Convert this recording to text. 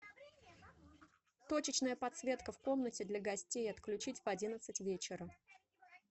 точечная подсветка в комнате для гостей отключить в одиннадцать вечера